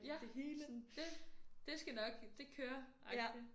Ja sådan dét det skal nok det kører agtig